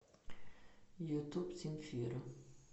ютуб земфира